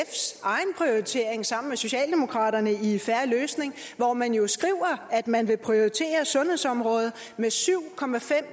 og socialdemokraternes egne i en fair løsning hvor man jo skriver at man vil prioritere sundhedsområdet med syv